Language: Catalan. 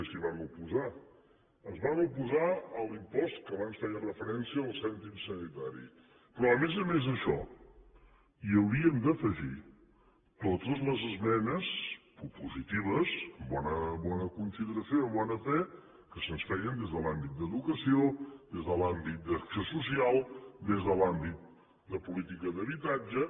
s’hi van oposar es van oposar a l’impost a què abans feia referència al cèntim sanitari però a més a més d’això hi hauríem d’afegir totes les esmenes propositives amb bona consideració i amb bona fe que se’ns feien des de l’àmbit d’educació des de l’àmbit d’acció social des de l’àmbit de política d’habitatge